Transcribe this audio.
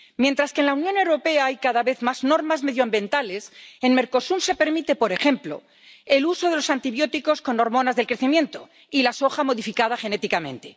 Mientras que en la Unión Europea hay cada vez más normas medioambientales, en Mercosur se permite, por ejemplo, el uso de los antibióticos con hormonas del crecimiento y la soja modificada genéticamente.